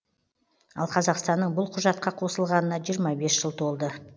ал қазақстанның бұл құжатқа қосылғанына жиырма бес жыл толды